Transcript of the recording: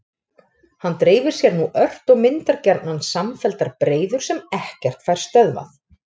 Hann dreifir sér nú ört og myndar gjarnan samfelldar breiður sem ekkert fær stöðvað.